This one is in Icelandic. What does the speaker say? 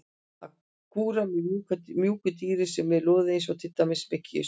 Að kúra með mjúku dýri sem er loðið eins og til dæmis með kisu.